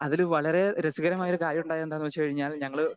speaker 2 അതില് വളരെ രസകരമായ ഒരു കാര്യം ഉണ്ടായെന്താന്ന് വെച്ച് കഴിഞ്ഞാൽ ഞങ്ങള്